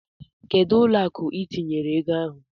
Kedụ ụlọ akụ itinyere ego ahụ?